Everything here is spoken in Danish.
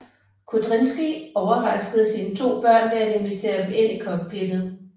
Kudrinskij overraskede sine to børn ved at invitere dem ind i cockpittet